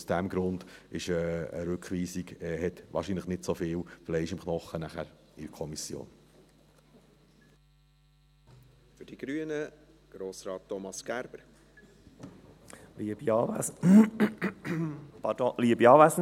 Aus diesem Grund hat eine Rückweisung, danach in der Kommission, wahrscheinlich nicht so viel Fleisch am Knochen.